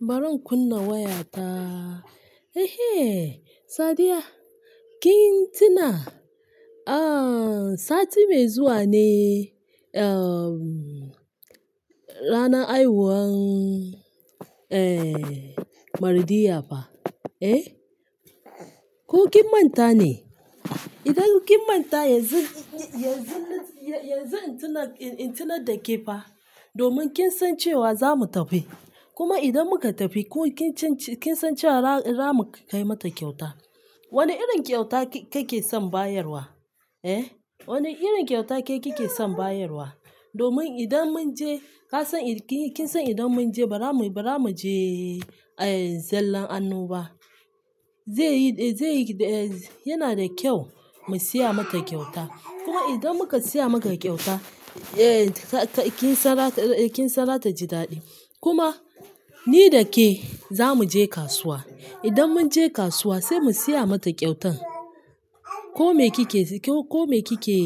Baran kunna wayata. Ehe, Sadiya kin tuna? Ah, sati mai zuwa ne, uh, ranar haihuwan, eh, Mardiya fa? Eh, ko kin manta ne? Idan kin manta yanzu, yanzu, yanzu in tuna, in tuna da ke fa, domin kin san cewa za mu tafi. Kuma idan muka tafi ko kin cinci, kin san cewa ra-ra mu kai mata kyauta. Wane irin kyauta ke kike son bayarwa? Eh, wane irin kyauta ke kike son bayarwa? Domin idan mun je ka san, kin san idan mun je ba ra mu, ba ra mu je, eh, zallan annoba. Zai yi, eh, zai yi, eh, yana da kyau mu siya mata kyauta. Kuma idan muka siya maka kyauta, eh, ka-kin san ra ta, kin san ra ta ji daɗi. Kuma ni da ke za mu je kasuwa. Idan mun je kasuwa sai mu siya mata kyautan. Ko me kike, ko me kike